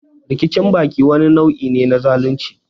Rikicin baki wani nau'i ne na zalunci.